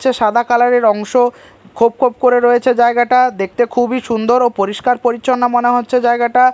হচ্ছে সাদা কালার -এর অংশ খোপ খোপ করে রয়েছে জায়গাটা দেখতে খুবই সুন্দর ও পরিষ্কার পরিচ্ছন্ন মনে হচ্ছে জায়গাটা।